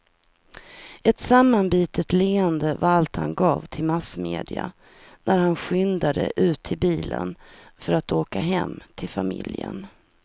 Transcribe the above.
Ett sammanbitet leende var allt han gav till massmedia när han skyndade ut till bilen för att åka hem till familjen.